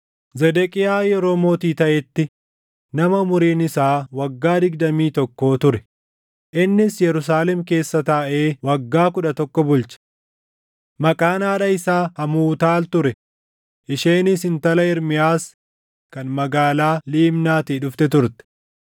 Zedeqiyaa yeroo mootii taʼetti nama umuriin isaa waggaa digdamii tokkoo ture; innis Yerusaalem keessa taaʼee waggaa kudha tokko bulche. Maqaan haadha isaa Hamuutaal ture; isheenis intala Ermiyaas kan magaalaa Libnaatii dhufte turte.